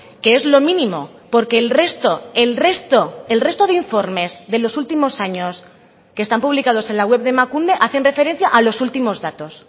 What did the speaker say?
que es lo mínimo porque el resto el resto el resto de informes de los últimos años que están publicados en la web de emakunde hacen referencia a los últimos datos